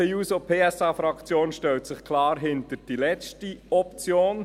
Die SP-JUSO-PSA-Fraktion stellt sich klar hinter die letzte Option.